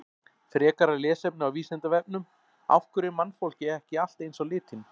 Frekara lesefni á Vísindavefnum: Af hverju er mannfólkið ekki allt eins á litinn?